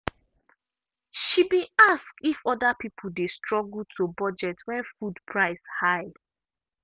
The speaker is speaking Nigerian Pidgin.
she been ask if other people dey struggle to budget when food price high.